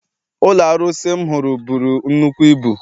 Ụlọ arụsị ahụ m hụrụ buru nnukwu ibu.